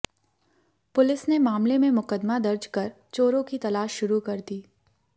police ने मामले में मुकदमा दर्ज कर चोरों की तलाश शुरू कर दी